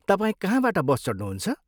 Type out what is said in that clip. तपाईँ कहाँबाट बस चढ्नुहुन्छ?